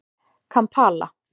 Kampala